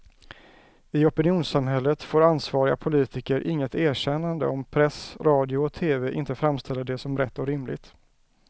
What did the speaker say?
I opinionssamhället får ansvariga politiker inget erkännande om press, radio och tv inte framställer det som rätt och rimligt.